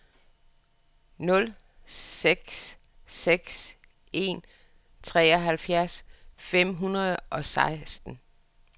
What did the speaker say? nul seks seks en treoghalvfjerds fem hundrede og seksten